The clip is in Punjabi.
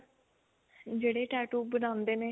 ਜਿਹੜੇ tattoo ਬਣਾਂਦੇ ਨੇ